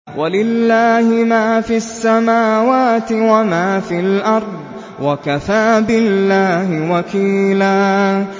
وَلِلَّهِ مَا فِي السَّمَاوَاتِ وَمَا فِي الْأَرْضِ ۚ وَكَفَىٰ بِاللَّهِ وَكِيلًا